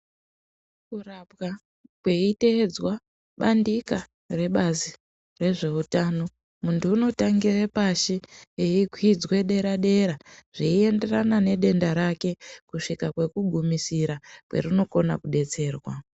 Kurapwa kweiteedzwa bandika rebazi rezveutano, muntu unotangire pashi eikwidzwe dera dera zveienderana nedenda rake kusvika kwekugumisira kwerinokona kudetserwa.